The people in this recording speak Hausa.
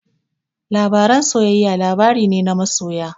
Labaren soyayya labari ne na masoya.